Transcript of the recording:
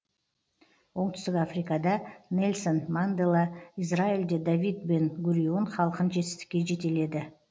оңтүстік африкада нельсон мандела изралиьде давид бен гурион халқын жетістікке жетеледі